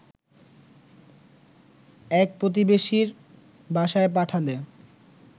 এক প্রতিবেশীর বাসায় পাঠালে